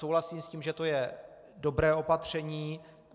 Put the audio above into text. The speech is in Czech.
Souhlasím s tím, že to je dobré opatření.